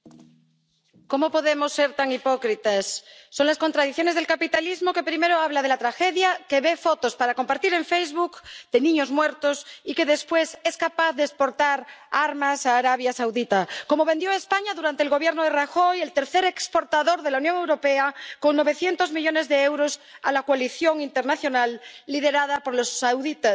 Señor presidente, ¿cómo podemos ser tan hipócritas? Son las contradicciones del capitalismo, que primero habla de la tragedia, que ve fotos para compartir en Facebook de niños muertos y que después es capaz de exportar armas a Arabia Saudí. Como las que vendió España durante el Gobierno de Rajoy —el tercer exportador de la Unión Europea, con novecientos millones de euros— a la coalición internacional liderada por los saudíes.